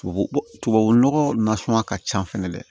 Tubabu tubabu nɔgɔ nasɔn ka ca fɛnɛ dɛ